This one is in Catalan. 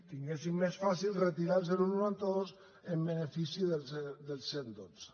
tinguessin més fàcil retirar el noranta dos en benefici del cent i dotze